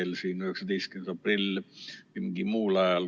Noh, emakeel 19. aprillil või mingi muul ajal.